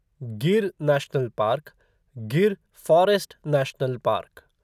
Gir national park Gir forest national park